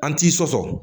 An t'i sɔsɔ